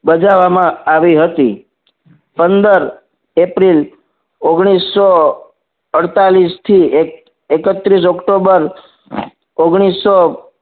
બજાવવામાં આવી હતી પંદર એપ્રિલ ઓગનીશો અડ્તાલીશ થી એક્ત્રીશ ઓક્ટોબર ઓગનીશો